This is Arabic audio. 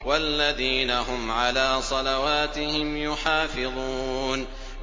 وَالَّذِينَ هُمْ عَلَىٰ صَلَوَاتِهِمْ يُحَافِظُونَ